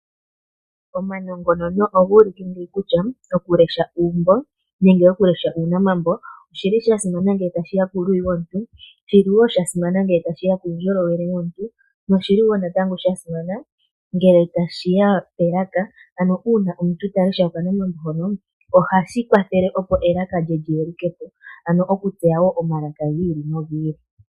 Omanongonono oga ulike kutya okulesha uumbo nenge okulesha uunamambo oshi li sha simana nge tashi , shi li wo sha simana ngele tashi ya kuundjolowele womuntu noshili wo natango sha simana ngele tashi ya pelaka. Ano uuna omuntu ta lesha okanamambo hono ohashi kwathele opo elaka lyi yeluke po, ano okutseya wo omalaka gi ili.